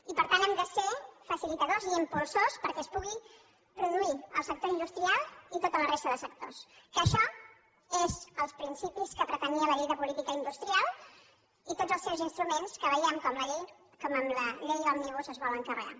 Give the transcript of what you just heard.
i per tant hem de ser facilitadors i impulsors perquè es pugui produir el sector industrial i tota la resta de sectors que això és els principis que pretenia la llei de política industrial i tots els seus instruments que veiem com amb la llei òmnibus es volen carregar